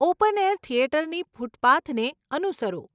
Open air થિયેટરની ફૂટપાથને અનુસરો.